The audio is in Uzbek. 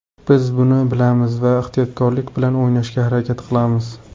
Biz buni bilamiz va ehtiyotkorlik bilan o‘ynashga harakat qilamiz.